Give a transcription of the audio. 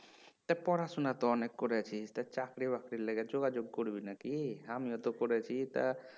তা পড়াশোনা তো অনেক করেছিস তা চাকরি বাকরির লিগে যোগাযোগ করবি নাকি আমিও তো করেছি তা